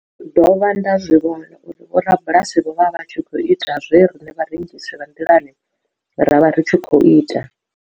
Ndo dovha nda zwi vhona uri vhorabulasi vho vha vha tshi khou ita zwe riṋe vharengisi vha nḓilani ra vha ri tshi khou ita.